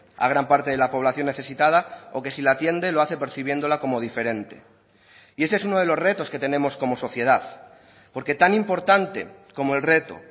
a gran parte de la población necesitada o que si la atiende lo hace percibiéndola como diferente y ese es uno de los retos que tenemos como sociedad porque tan importante como el reto